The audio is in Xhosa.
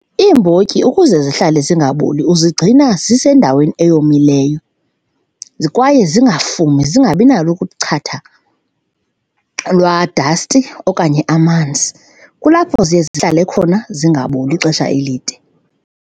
Iimbotyi ukuze zihlale zingaboli uzigcina zisendaweni eyomileyo kwaye zingafumi zingabi nalo kuchatha lwadasti okanye amanzi, kulapho ziye zihlale khona zingaboli ixesha elide.